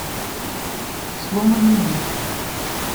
сломанный меч